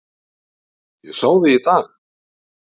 Ég sá þig í dag